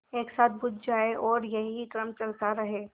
एक साथ बुझ जाएँ और यही क्रम चलता रहे